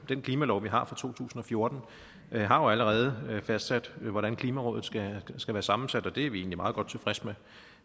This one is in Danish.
den klimalov vi har fra to tusind og fjorten har jo allerede fastsat hvordan klimarådet skal være sammensat og det er vi egentlig meget godt tilfreds med